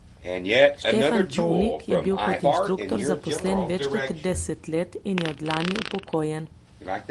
Štefan Čolnik je bil kot inštruktor zaposlen več kot trideset let in je od lani upokojen.